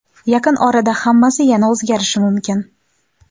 Yaqin orada hammasi yana o‘zgarishi mumkin.